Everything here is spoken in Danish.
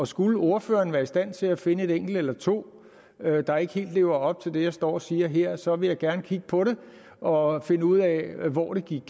skulle ordføreren være i stand til at finde et enkelt eller to der ikke helt lever op til det jeg står og siger her så vil jeg gerne kigge på det og finde ud af hvor det gik